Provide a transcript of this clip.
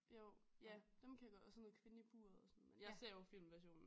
Jo ja dem kan jeg godt og sådan noget kvinden i buret og sådan men jeg ser jo filmversionen